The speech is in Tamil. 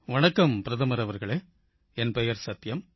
வணக்கம் பிரதமர் அவர்களே என் பெயர் சத்யம்